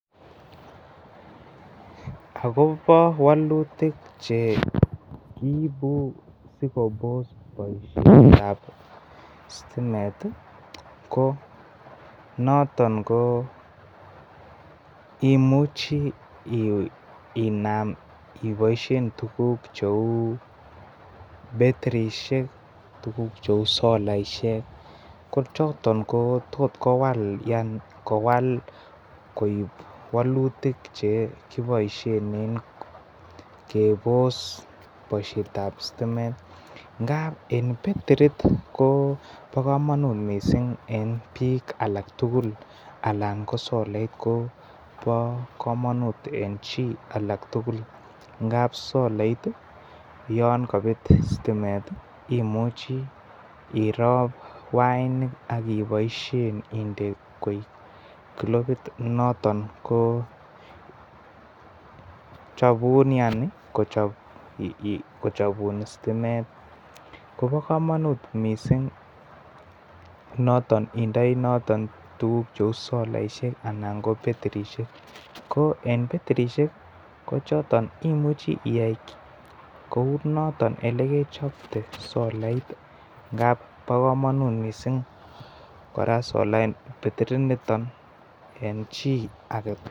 Agobo wakutuk che kiibu si koboos ngalek kab stimet ko noton koimuchi inam iboisien tuguk cheu betirisiek ak tuguk cheu solaisiek kochoton ko tos kwowal yaani kowal koek walutik chekipoishen en keboos boishet ab stimet ngab en betirit kobo komanut mising en bik alaktugul alan kosolait ko Kobokomanut en chii agetugul ngap solait ko olon kobet istimet imuchi irop wainik ahipoisien indekoik klopit noton ko chobun yaani kochobun stimet Kobokomanut missing noton indei noton tuguk cheu solaisiek anan ko beterisiek ko en beterisiek ko imuuch iyai kou noton olegechobte solait ngab Kobokomanut missing kora betirit niton en chii agetugul.